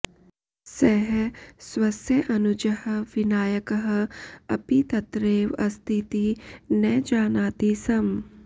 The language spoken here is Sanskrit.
सः स्वस्य अनुजः विनायकः अपि तत्रैव अस्तीति न जानाति स्म